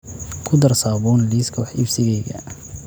ku dar saabuun liiska wax iibsigayga